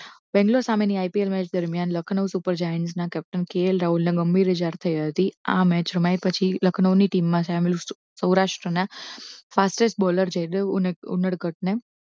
બેંગ્લોર સામેની IPL match દરમિયાન Lucknow super giant ના captain કે એલ રાહુલ ને ગંભીર ઈજા થઈ હતી આ મેચ રમાયા પછી લખનઉની team માં સામેલ સૌરાષ્ટ્રના fastest baller જયદેવ ઉંડરગઢને